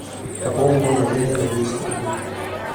пополни мой мобильный на двести рублей